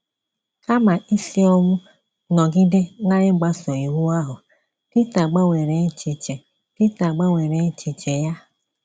Kama isi ọnwụ nọgide na-igbaso Iwu ahụ, Pita gbanwere echiche Pita gbanwere echiche ya.